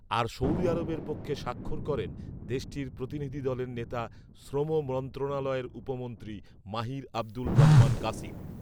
আর সৌদির পক্ষে স্বাক্ষর করেন দেশটির প্রতিনিধি দলের নেতা শ্রম মন্ত্রণালয়ের উপমন্ত্রী মাহির আবদুল রহমান গাসিম